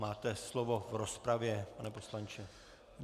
Máte slovo v rozpravě, pane poslanče.